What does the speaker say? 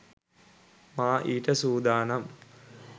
මා ඊට සූදානම්